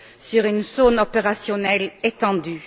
sur une zone opérationnelle étendue.